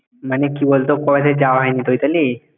মানে কী বলতো কয় দিন যাওয়া হয়নি ওই তলি